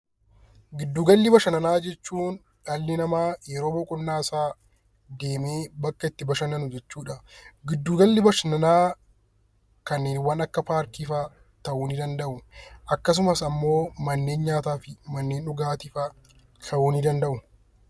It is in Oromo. Giddu gala bashannanaa jechuun dhalli namaa yeroo boqonnaasaa deemee bakka itti bashannanau jechuudha. Giddu galli bashannanaa kanneen akka paarkii fa'aa ta'uu danda'u akkasumas immoo manneen nyaataa fi dhugaatii fa'aa ta'uu ni danda'u.